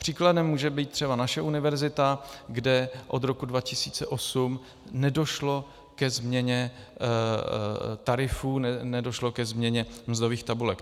Příkladem může být třeba naše univerzita, kde od roku 2008 nedošlo ke změně tarifů, nedošlo ke změně mzdových tabulek.